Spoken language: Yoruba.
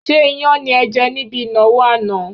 Ṣé iyán ni ẹ jẹ̀ níbi ìnáwó àná?